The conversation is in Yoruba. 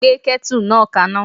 Gbé ketu náà kaná.